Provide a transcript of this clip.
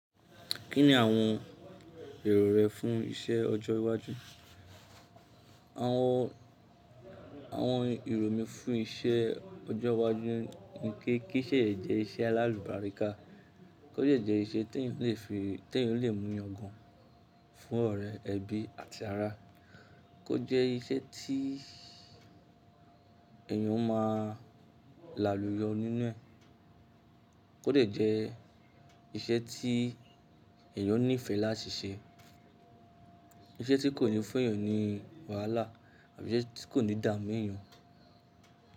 Kí ni àwọn èrò rẹ fún iṣẹ́ ọjọ́ iwájú? Àwọn, àwọn èrò mi fún iṣẹ́ ọjọ́ iwájú ni kí, kí iṣẹ́ yẹ jẹ́ iṣẹ́ alálùbáríkà, kó jẹ́ jẹ́ iṣẹ́ tí èyàn lè fi, tí èyàn lè mú yangan fún ọ̀rẹ́, ẹbí àti ara, kó jẹ́ iṣẹ́ tí èyàn ó máa láluyọ nínú ẹ̀, kó dẹ̀ jẹ́ iṣẹ́ tí èyàn nífẹ̀ẹ́ láti ṣe, iṣẹ́ tí kò ní fún èèyàn ní wàhálà àbí iṣẹ́ tí kò ní damu ẹ̀yàn.